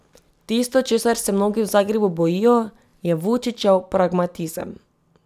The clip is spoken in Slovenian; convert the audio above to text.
Tisto, česar se mnogi v Zagrebu bojijo, je Vučićev pragmatizem.